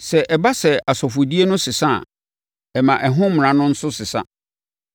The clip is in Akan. Sɛ ɛba sɛ asɔfodie no sesa a, ɛma ɛho mmara no nso sesa.